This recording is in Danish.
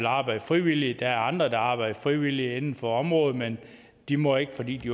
arbejde frivilligt og der er andre der arbejder frivilligt inden for området men de må ikke fordi de